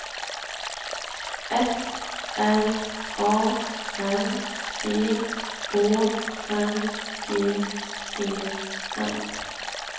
F R A M G Å N G E N